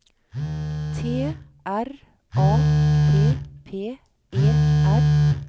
T R A P P E R